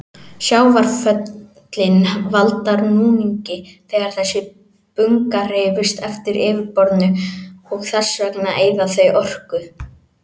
Sjávarföllin valda núningi þegar þessi bunga hreyfist eftir yfirborðinu og þess vegna eyða þau orku.